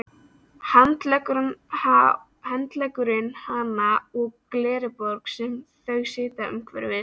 Hann leggur hana á glerborð sem þau sitja umhverfis.